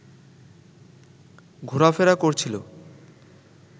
ঘোরাফেরা করছিল